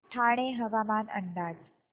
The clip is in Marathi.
ठाणे हवामान अंदाज